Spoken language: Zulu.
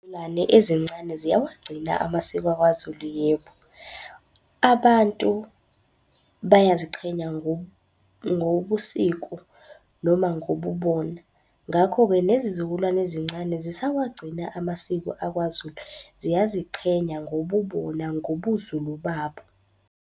ezincane ziyawagcina amasiko akwaZulu yebo. Abantu bayaziqhenya ngobusiko noma ngobubona. Ngakho-ke nezizukulwane ezincane zisawagcina amasiko akwaZulu. Ziyaziqhenya ngobubona ngobuZulu babo.